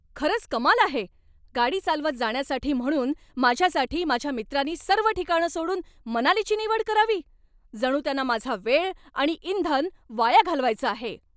खरंच कमाल आहे, गाडी चालवत जाण्यासाठी म्हणून माझ्यासाठी माझ्या मित्रांनी सर्व ठिकाणं सोडून मनालीची निवड करावी? जणू त्यांना माझा वेळ आणि इंधन वाया घालवायचं आहे!